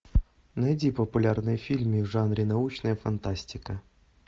найди популярные фильмы в жанре научная фантастика